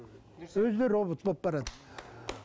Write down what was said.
өзі де робот болып барады